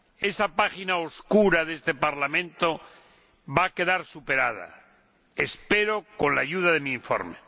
Esa página oscura de este Parlamento va a quedar superada espero con la ayuda de mi informe.